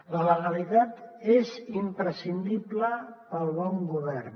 la legalitat és imprescindible per al bon govern